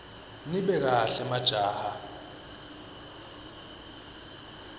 nibe kahle majaha